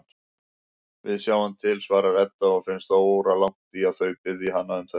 Við sjáum til, svarar Edda og finnst óralangt í að þau biðji hana um þetta.